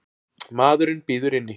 Maðurinn bíður inni.